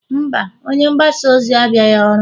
mba, onye mgbasa ozi abịaghị ọrụ